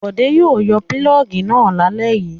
Bọ̀dé yóò yọ pulọ́ọ́gì náà lálẹ́ yìí.